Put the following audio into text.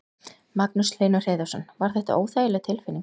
Magnús Hlynur Hreiðarsson: Var þetta óþægileg tilfinning?